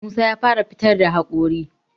Musa ya fara fitar da haƙori